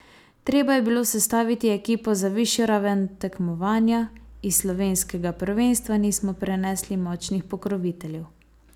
Treba je bilo sestaviti ekipo za višjo raven tekmovanja, iz slovenskega prvenstva nismo prenesli močnih pokroviteljev.